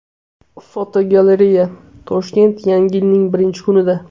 Fotogalereya: Toshkent yangi yilning birinchi kunida.